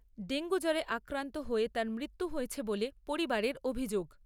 Dengue জ্বরে আক্রান্ত হয়ে তার মৃত্যু হয়েছে বলে পরিবারের অভিযোগ।